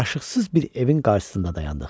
Yaraşıqsız bir evin qarşısında dayandıq.